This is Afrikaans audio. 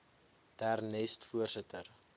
der nest voorsitter